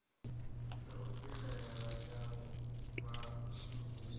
ya u vhilaela ya vhashumisi